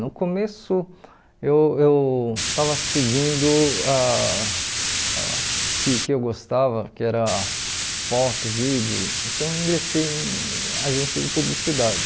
No começo eu eu estava seguindo ah ah o que que eu gostava, que era foto, vídeo, então eu ingressei em agência de publicidade.